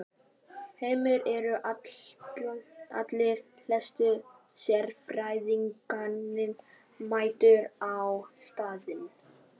Heimir, eru allir helstu sérfræðingarnir mættir á staðinn?